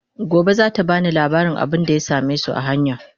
Gobe zata bani labarin abunda ya samesu a hanya